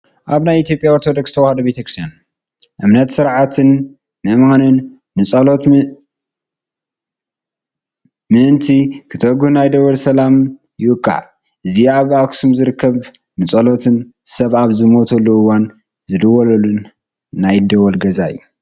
ኣብ ናይ ኢ/ያ ኦርቶዶክ ተዋህዶ ቤተ ክርስትያን እምነትን ስርዓትን ምእመናን ንፀሎት ምእንቲ ክተግሁ ናይ ደወል ሰላዕ ይውቃዕ፡፡ እዚ ኣብ ኣክሱም ዝርከብ ንፀሎትን ሰብ ኣብ ዝሞተሉ እዋን ዝድወለሉ ናይ ደወል ገዛ እዩ፡፡